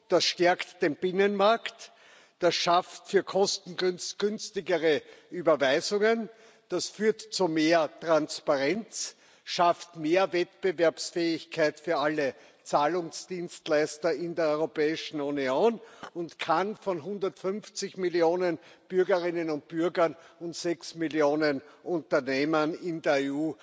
Das stärkt den Binnenmarkt, das schafft kostengünstigere Überweisungen, das führt zu mehr Transparenz, schafft mehr Wettbewerbsfähigkeit für alle Zahlungsdienstleister in der Europäischen Union und kann von 150 Millionen Bürgerinnen und Bürgern und sechs Millionen Unternehmern in der